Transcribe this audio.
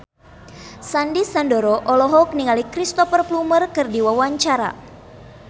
Sandy Sandoro olohok ningali Cristhoper Plumer keur diwawancara